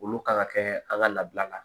Olu kan ka kɛ an ka labila la